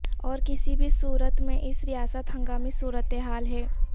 اور کسی بھی صورت میں اس ریاست ہنگامی صورتحال ہے